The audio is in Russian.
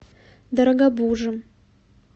дорогобужем